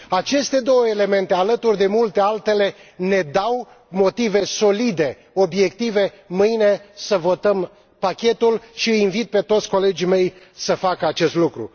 Aceste două elemente, alături de multe altele, ne dau motive solide, obiective ca mâine să votăm pachetul și îi invit pe toți colegii mei să facă acest lucru.